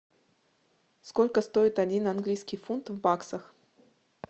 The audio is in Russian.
сколько стоит один английский фунт в баксах